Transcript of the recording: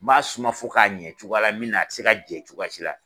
N b'a suma fo k'a ɲɛ cogoya la min na , a tɛ se ka jɛn cogoya si la!